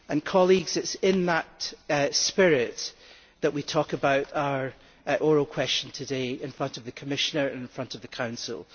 Colleagues, it is in that spirit that we talk about our oral question today in front of the Commissioner and in front of the Council.